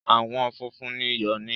Àwọn funfun ni ìyọ ní